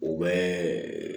U bɛ